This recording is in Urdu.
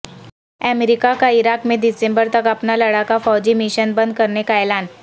امریکہ کا عراق میں دسمبر تک اپنا لڑاکا فوجی مشن بند کرنے کا اعلان